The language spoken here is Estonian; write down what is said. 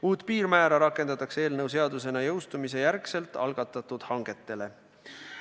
Uut piirmäära rakendatakse eelnõu seadusena jõustumise järel algatatud hangetele.